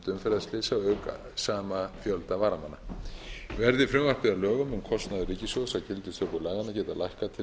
umferðarslysa auk sama fjölda varamanna verði frumvarpið að lögum mun kostnaður ríkissjóðs af gildistöku laganna lækka til lengri tíma